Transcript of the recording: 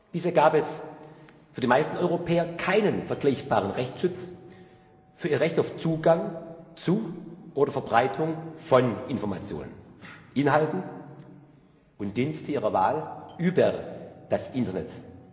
Bisher gab es für die meisten Europäer keinen vergleichbaren Rechtsschutz für ihr Recht auf Zugang zu oder Verbreitung von Informationen, Inhalten und Diensten ihrer Wahl über das Internet.